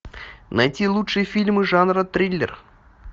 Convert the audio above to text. найти лучшие фильмы жанра триллер